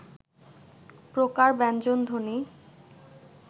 প্রকার ব্যঞ্জনধ্বনি